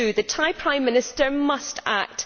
The Thai Prime Minister must act.